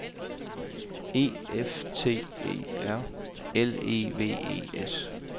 E F T E R L E V E S